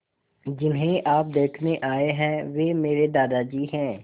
जिन्हें आप देखने आए हैं वे मेरे दादाजी हैं